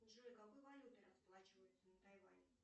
джой какой валютой расплачиваются на тайване